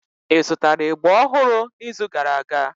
Ị zụtara ịgba ọhụrụ n'izu gara aga?